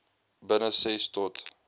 binne ses tot